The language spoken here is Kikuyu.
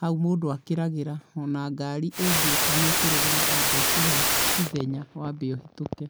hau mũndũ akĩragĩra, o na ngari ĩngĩũka nĩ ĩkũrũgama yambe ĩkũhe ithenya, wambe ũhĩtũke